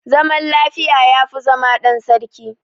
Zaman lafiya yafi zama dan sarki